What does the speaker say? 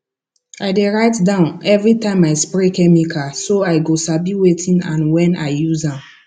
i dey write down every time i spray chemical so i go sabi wetin and when i use am